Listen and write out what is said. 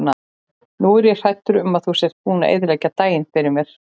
Nú er ég hræddur um að þú sért búinn að eyðileggja daginn fyrir mér.